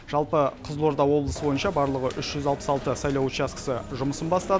жалпы қызылорда облысы бойынша барлығы үш жүз алпыс алты сайлау учаскесі жұмысын бастады